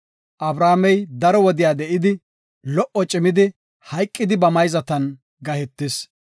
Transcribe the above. Abrahaamey daro wode de7idi, lo77o cimidi, hayqidi ba mayzatan gahetis.